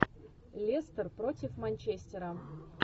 лестер против манчестера